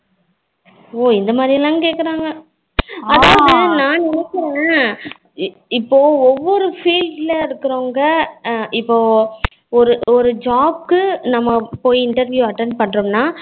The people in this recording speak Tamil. ஓ இந்த மாதிரி எல்லாம் கேக்ககுறங்க அதாவது நான் நினைக்குறேன் இப்போ ஒவ்வொரு field இருக்குறவங்க இப்போ ஒரு ஒரு job நம்ம போய் interview attend பண்ணுறோம்னா